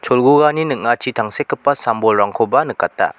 cholgugani ning·achi tangsekgipa sam-bolrangkoba nikata.